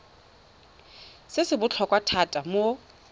se se botlhokwa thata mo